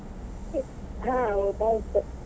ಹಾ ಊಟ ಆಯ್ತು.